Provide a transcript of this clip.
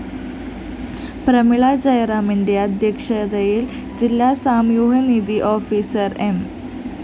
പ്രമീളജയറാമിന്റെ അധ്യക്ഷതയില്‍ ജില്ലാ സാമൂഹ്യനീതീ ഓഫീസർ എം